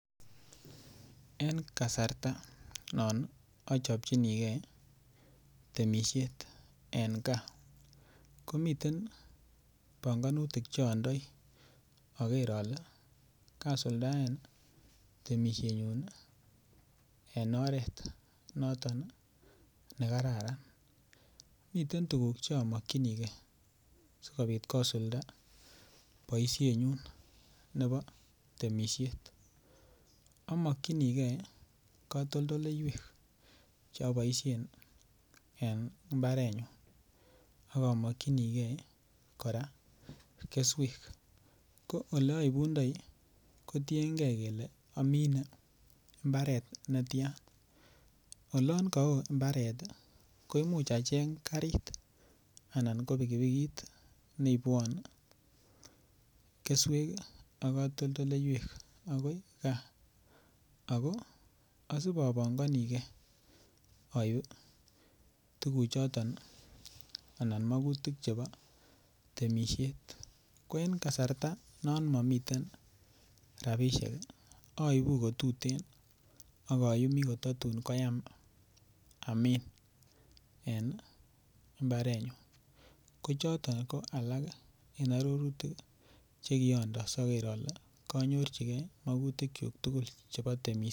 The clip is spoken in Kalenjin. En kasarta non achopchinikei temisiet en gaa, komiten banganutik cho andoi aker ale kasuldaen ii temisienyun ii en oret noton ii ne kararan, miten tukuk chomokchinikei sikobit kosulda boisienyun nebo temisiet, amokchinikei katoldoleiwek cho boisien ii en imbarenyun ak amokchinikei ii kora keswek, ko oleaibundoi kotienkei kele amine mbaret ne tian, olon ka oo mbaret ii ko imuch acheng garit anan ko pikipikit neibwon ii keswek ii ak katoldoleiwek akoi gaa, ako asibopanganikei aip ii tukuchoton ii anan makutik chebo temisiet, ko en kasarta non momiten rabiisiek ii aibu kotuten ak ayumi kotatun koyam amin en imbarenyun, ko choton ko alak en arorutik ii che kionde asoker ale kanyorchikei makutikyuk tugul chebo temisiet.